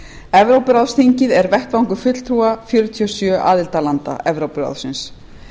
evrópuráðsþingið er vettvangur fulltrúa þjóðþinga fjörutíu og sjö aðildarlanda evrópuráðsins